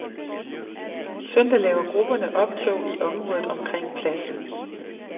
Søndag laver grupperne optog i området omkring pladsen.